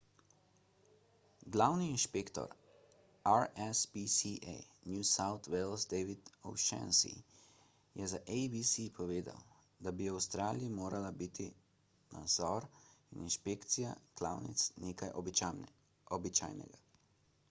glavni inšpektor rspca new south wales david o'shannessy je za abc povedal da bi v avstraliji morala biti nadzor in inšpekcija klavnic nekaj običajnega